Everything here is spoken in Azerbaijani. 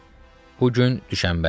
Bu gün Düşənbədir.